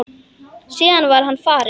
Síðan var hann farinn.